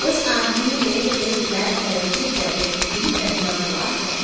उसे आदमी ने एक ब्लैक कलर के जैकेट भी पहना हुआ है।